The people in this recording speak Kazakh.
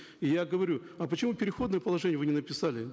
и я говорю а почему переходное положение вы не написали